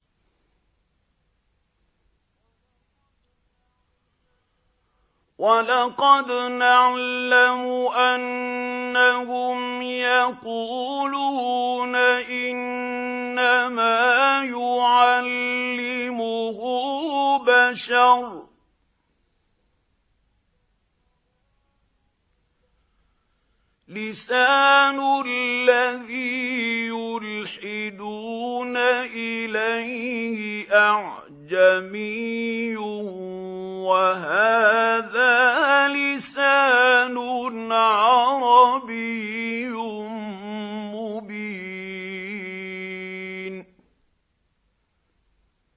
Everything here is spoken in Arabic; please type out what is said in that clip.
وَلَقَدْ نَعْلَمُ أَنَّهُمْ يَقُولُونَ إِنَّمَا يُعَلِّمُهُ بَشَرٌ ۗ لِّسَانُ الَّذِي يُلْحِدُونَ إِلَيْهِ أَعْجَمِيٌّ وَهَٰذَا لِسَانٌ عَرَبِيٌّ مُّبِينٌ